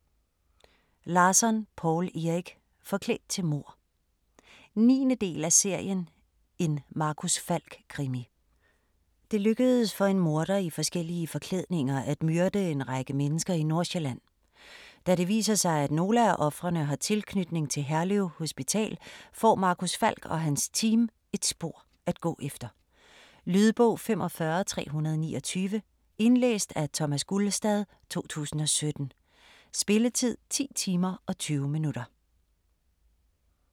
Larsson, Poul Erik: Forklædt til mord 9. del af serien En Marcus Falck krimi. Det lykkedes for en morder i forskellige forklædninger at myrde en række mennesker i Nordsjælland. Da det viser sig at nogle af ofrene har tilknytning til Herlev Hospital, får Marcus Falk og hans team et spor at gå efter. Lydbog 45329 Indlæst af Thomas Gulstad, 2017. Spilletid: 10 timer, 20 minutter.